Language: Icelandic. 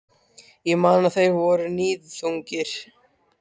Ég man að þeir voru níðþungir.